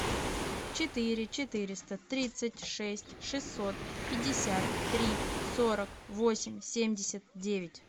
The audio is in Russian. четыре четыреста тридцать шесть шестьсот пятьдесят три сорок восемь семьдесят девять